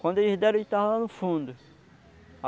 Quando eles deram, ele estava lá no fundo.